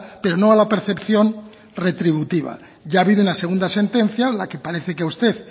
pero no a la percepción retributiva ya ha habido una segunda sentencia la que parece que usted